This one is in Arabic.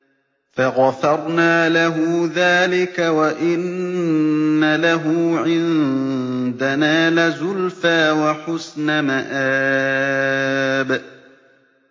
فَغَفَرْنَا لَهُ ذَٰلِكَ ۖ وَإِنَّ لَهُ عِندَنَا لَزُلْفَىٰ وَحُسْنَ مَآبٍ